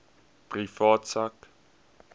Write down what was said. privaat sak